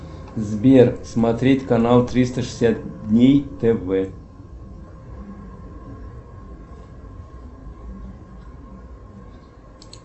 сбер смотреть канал триста шестьдесят дней тв